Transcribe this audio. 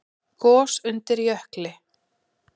Gos undir jökli